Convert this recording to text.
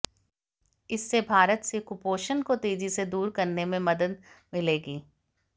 इससे भारत से कुपोषण को तेजी से दूर करने में मदद मिलेगी